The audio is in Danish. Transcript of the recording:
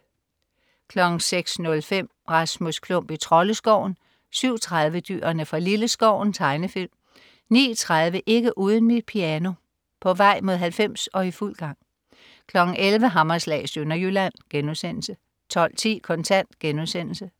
06.05 Rasmus Klump i Troldeskoven 07.30 Dyrene fra Lilleskoven. Tegnefilm 09.30 Ikke uden mit piano. På vej mod 90 og i fuld gang 11.00 Hammerslag i Sønderjylland* 12.10 Kontant*